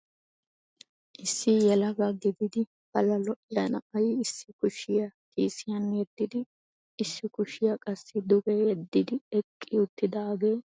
Issi yelaga gididi pala lo"iya na'ay issi kushiya kiisiyan yeddidi issi kushiya qassi duge yeddidi eqqi uttidaagee meray qassi boljjojja arssa.